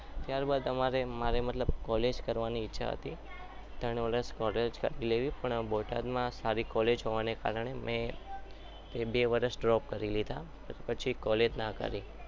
ત્યારબાદ મારે college કરવાની ઈચ્છા હતી ત્રણ વર્ષ college લેવી હતી પણ બોટાદમાં સારી college હોવાના કારણે મેં બે વર્ષ drop કરી લીધા પછી college ના કરી